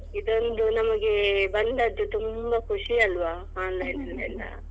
ಇದೊಂದು ನಮಗೆ ಬಂದದ್ದು ತುಂಬಾ ಖುಷಿ ಅಲ್ವಾ online ಅದೆಲ್ಲ.